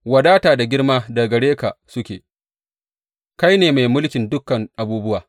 Wadata da girma daga gare ka suke; kai ne mai mulkin dukan abubuwa.